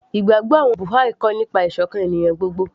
ìgbàgbọ́ àwọn Buha'i kọ́ nípa ìsọ̀kan ènìyàn gbogbo